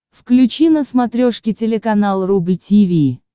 включи на смотрешке телеканал рубль ти ви